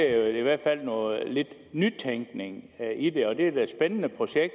i hvert fald noget nytænkning i det det er da et spændende projekt og